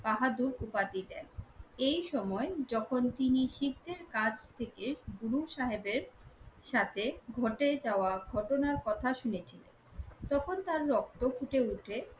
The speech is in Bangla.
বাহাদুর উপাধি দেন। এইসময় যখন তিনি শিখদের কাছ থেকে গুরুসাহেবের সাথে ঘটে যাওয়া ঘটনার কথা শুনেছিলেন তখন তার রক্ত ফুটে ওঠে